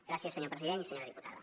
gràcies senyor president i senyora diputada